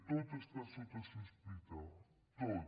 tot està sota sospita tot